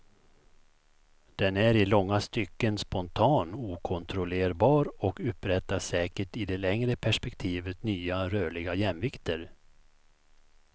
Den är i långa stycken spontan, okontrollerbar och upprättar säkert i det längre perspektivet nya rörliga jämvikter.